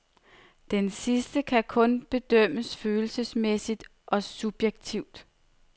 Denne sidste kan kun bedømmes følelsesmæssigt og subjektivt.